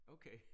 Okay